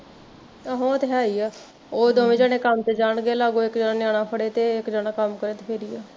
ਤੇ ਉਹ ਤੇ ਹੈ ਹੀ ਆ, ਉਹ ਦੋਵੇ ਜਣੇ ਕੰਮ ਤੇ ਜਾਣਗੇ ਤੇ ਲਾਗੋ ਇੱਕ ਜਣਾ ਨਿਆਣਾ ਫੜੇ ਤੇ ਇੱਕ ਜਣਾ ਕੰਮ ਕਰੇ ਤੇ ਫੇਰ ਈ ਆ